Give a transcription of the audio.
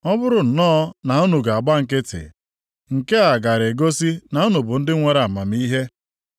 Ọ bụrụ nnọọ na unu ga-agba nkịtị, nke a gaara egosi na unu bụ ndị nwere amamihe.